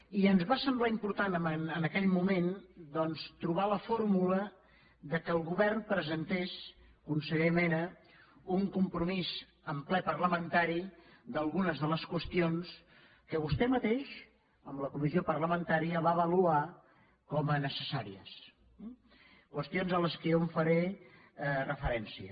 i ens va semblar important en aquell moment doncs trobar la fórmula que el govern presentés conseller mena un compromís en ple parlamentari d’algunes de les qüestions que vostè mateix en la comissió parlamentària va avaluar com a necessàries qüestions a les quals jo faré referència